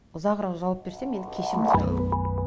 ұзағырақ жауап берсем енді кешірім сұраймын